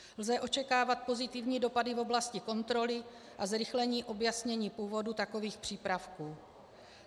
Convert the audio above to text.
Lze očekávat pozitivní dopady v oblasti kontroly a zrychlení objasnění původu takových přípravků.